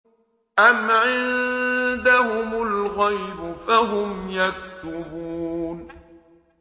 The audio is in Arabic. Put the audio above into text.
أَمْ عِندَهُمُ الْغَيْبُ فَهُمْ يَكْتُبُونَ